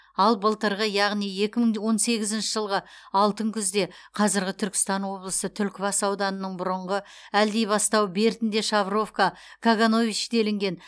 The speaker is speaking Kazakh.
ал былтырғы яғни екі мың он сегізінші жылғы алтын күзде қазіргі түркістан облысы түлкібас ауданының бұрынғы әлдибастау бертінде шавровка каганович делінген